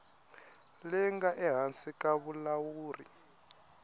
leyi nga ehansi ka vulawuri